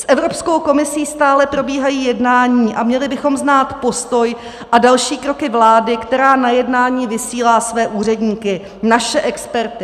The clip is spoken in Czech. S Evropskou komisí stále probíhají jednání a měli bychom znát postoj a další kroky vlády, která na jednání vysílá své úředníky, naše experty.